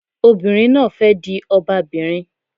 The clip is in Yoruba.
Obìnrin náà di ọba bìnrin